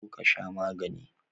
Zo ka sha magani.